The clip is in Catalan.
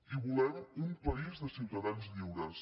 i volem un país de ciutadans lliures